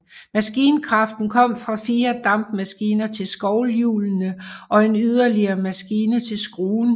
Maskinkraften kom fra fire dampmaskiner til skovlhjulene og en yderligere maskine til skruen